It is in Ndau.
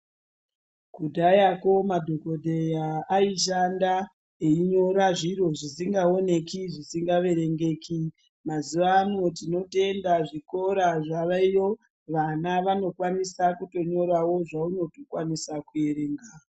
Kudhayakwo madhokodheya aishanda einyora zviro zvisingaoneki zvisingaerengeki mazuwa ano tinotenda zvikora zvaveyo vana vanokwanisa kunyorawo zvaunotokwanisa kuerenga.